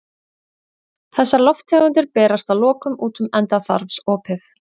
Þessar lofttegundir berast að lokum út um endaþarmsopið.